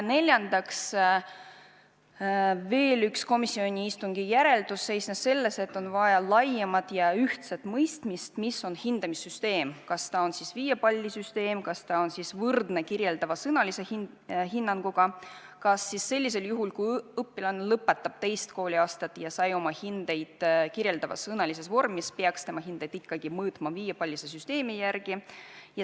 Veel üks komisjoni istungi järeldusi seisnes selles, et on vaja laiemat ja ühtset mõistmist, mis on hindamissüsteem, kas see on viiepallisüsteem, kas see on võrdne kirjeldava sõnalise hinnanguga ning kas sellisel juhul, kui õpilane lõpetab teist kooliaastat ja saab oma hinded kirjeldavas sõnalises vormis, peaks tema hindeid ikkagi mõõtma viiepallisüsteemi järgi.